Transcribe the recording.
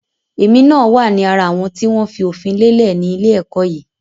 Èmi náà wá ní ara àwọn tí wọn fi òfin lélẹ̀ ni ilé ẹ̀kọ́ yìí